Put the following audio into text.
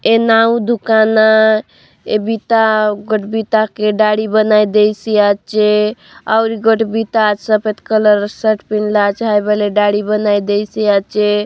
ए नाऊ दुकान आय ए बिता गट बिता के दाढ़ी बनय देयसि आचे और इ गट बिता सफ़ेद कलर शर्ट पिनला चाय वाले दाढ़ी बनाय देयसि आचे।